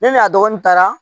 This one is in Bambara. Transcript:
Ne n'a dɔgɔnin taara